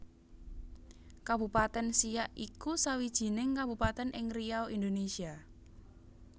Kabupaten Siak iku sawijining kabupatèn ing Riau Indonésia